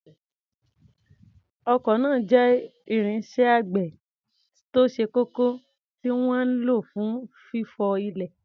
Ọkọ́ náà jẹ́ irinṣẹ́ àgbẹ̀ tó ṣe kókó tí wọ́n ń lò fún fífọ́ ilẹ̀.